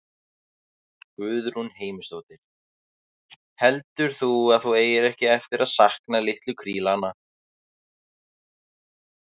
Guðrún Heimisdóttir: Heldur þú að þú eigir ekki eftir að sakna litlu krílanna?